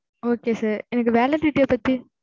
okay sir எனக்கு validity ய பத்தி